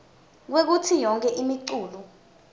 kwekutsi yonkhe imiculu